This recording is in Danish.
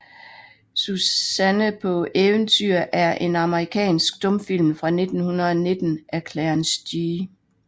Suzanne paa Eventyr er en amerikansk stumfilm fra 1919 af Clarence G